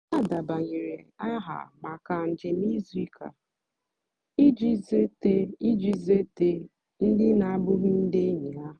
ha dèbányèrè àha maka njèm ìzùù ụ́ka ijì zùétè ijì zùétè ndì na-àbụ́ghì ndì ényì ha.